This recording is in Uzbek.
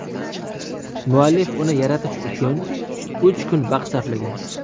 Muallif uni yaratish uchun uch kun vaqt sarflagan.